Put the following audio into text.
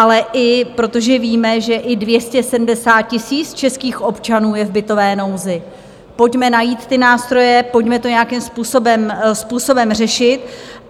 Ale i protože víme, že i 270 000 českých občanů je v bytové nouzi, pojďme najít ty nástroje, pojďme to nějakým způsobem řešit.